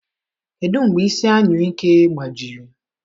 Kedu mgbe isi anyụike gbajiri?